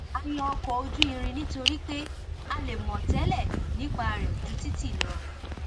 a yan ọkọ ojú irin nítorí pé a lè mọ tẹlẹ nípa rẹ ju títì lọ